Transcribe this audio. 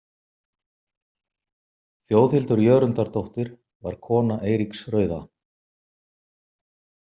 Þjóðhildur Jörundardóttir var kona Eiríks rauða.